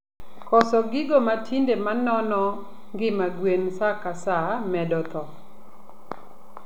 Koso gigo matinde manono ngima gwen saa ka saa medo thoo